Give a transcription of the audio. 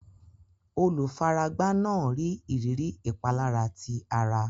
Olùfaragbá náà ní ìrírí ìpalára ti ara.